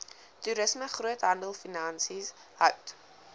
toerisme groothandelfinansies hout